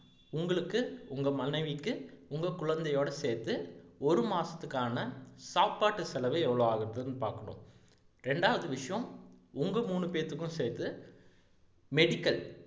உங்களுக்கு உங்க மனைவிக்கு உங்க குழந்தையோட சேர்த்து ஒரு மாசத்துக்கான சாப்பாட்டு செலவு எவ்வளவு ஆகுதுனு பாக்குறோம் ரெரண்டாவது விஷயம் உங்க மூணு பேத்துக்கும் சேர்த்து medical